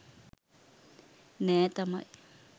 නෑ තමයි.